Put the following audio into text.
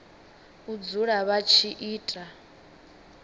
u dzula vha tshi ita